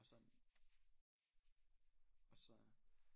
Og sådan og så